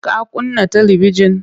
Ka kunna talibijin?